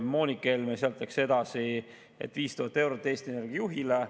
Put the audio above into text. Moonika Helme läks sealt edasi: 5000 eurot Eesti Energia juhile.